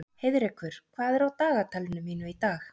Heiðrekur, hvað er í dagatalinu mínu í dag?